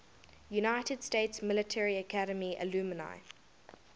united states military academy alumni